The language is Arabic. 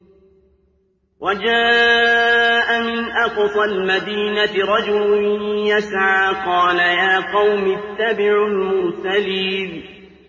وَجَاءَ مِنْ أَقْصَى الْمَدِينَةِ رَجُلٌ يَسْعَىٰ قَالَ يَا قَوْمِ اتَّبِعُوا الْمُرْسَلِينَ